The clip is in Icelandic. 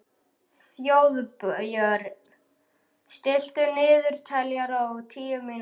Þjóðbjörn, stilltu niðurteljara á tíu mínútur.